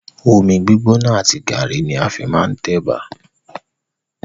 Omi gbígbóná àti gàrí ní a máa ń fi tẹ̀bà.